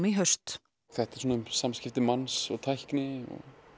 í haust þetta er svona um samskipti manns og tækni og